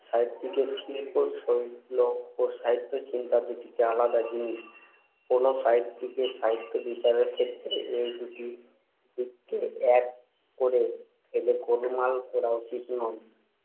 সাহিত্যিকের শিল্পশৈলী ও সাহিত্যচিন্তা দু'টি আলাদা জিনিস। কোন সাহিত্যিকের সাহিত্যবিচারের ক্ষেত্রে এই দু'টি দিককে এক করে ফেলে গোলমাল করা উচিত নয়।